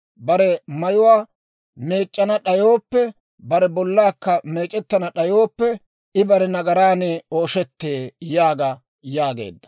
Bare mayuwaa meec'c'ana d'ayooppe, bare bollaakka meec'ettana d'ayooppe, I bare nagaraan ooshettee› yaaga» yaageedda.